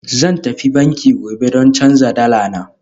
Zan tafi banki gobe don canza dala na